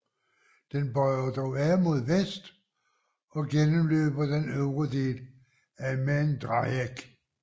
Den bøjer dog af mod vest og gennemløber den øvre del af Maindreieck